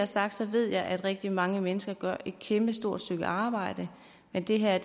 sagt ved jeg at rigtig mange mennesker gør et kæmpestort stykke arbejde men det her